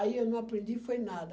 Aí eu não aprendi, foi nada.